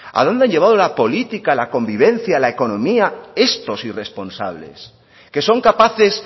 a dónde han llevado la política la convivencia la economía estos irresponsables que son capaces